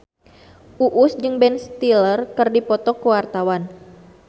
Uus jeung Ben Stiller keur dipoto ku wartawan